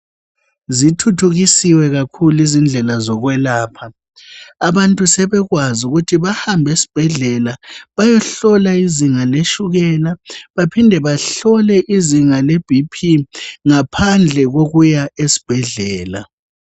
Zithuthukisiwe kakhulu izindlela zokwelapha, abantu sebekwazi ukuthi bahambe esibhedlela bayehlolwa izinga letshukela baphinde bahlole izinga lebp ngaphandle kokuya esibhedlela.